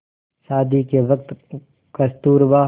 शादी के वक़्त कस्तूरबा